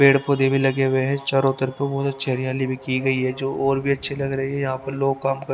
पेड़ पौधे भी लगे हुए हैं चारों तरफ बहुत अच्छी हरियाली भी की गई है जो और भी अच्छी लग रही है यहां पर लोग काम कर--